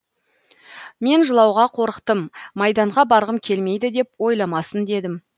мен жылауға қорықтым майданға барғым келмейді деп ойламасын дедім